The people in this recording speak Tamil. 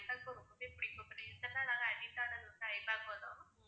எப்படி ஐபேக்கோ தான்.